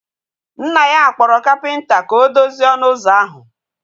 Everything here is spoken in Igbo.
Nna ya kpọrọ kapịnta ka o dozie ọnụ ụzọ ahu